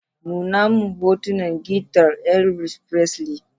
Nuna min hotunan gitar Elvis Presley.